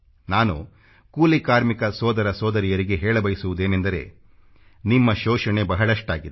ನಾನು ಕೂಲಿ ಕಾರ್ಮಿಕ ಸೋದರ ಸೋದರಿಯರಿಗೆ ಹೇಳ ಬಯಸುವುದೇನೆಂದರೆ ನಿಮ್ಮ ಶೋಷಣೆ ಬಹಳಷ್ಟಾಗಿದೆ